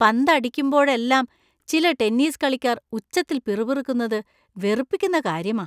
പന്ത് അടിക്കുമ്പോഴെല്ലാം ചില ടെന്നീസ് കളിക്കാർ ഉച്ചത്തിൽ പിറുപിറുക്കുന്നത് വെറുപ്പിക്കുന്ന കാര്യമാ.